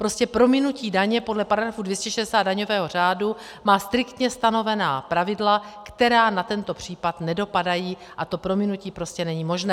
Prostě prominutí daně podle § 260 daňového řádu má striktně stanovená pravidla, která na tento případ nedopadají, a to prominutí prostě není možné.